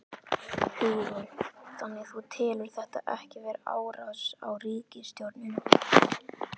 Hugrún: Þannig þú telur þetta ekki vera árás á ríkisstjórnina?